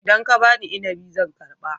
Idan ka ba ni inabi zan karba